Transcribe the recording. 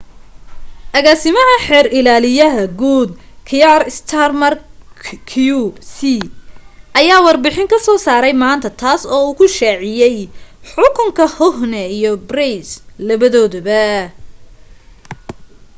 agaasimaha xeer ilaaliyaha guud, kier starmer qc ayaa warbixin soo saaray maanta taas oo uu ku shaaciyay xukunka huhne iyo pryce labadoodaba